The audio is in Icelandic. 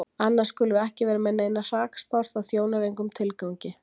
Annars skulum við ekki vera með neinar hrakspár, það þjónar engum tilgangi.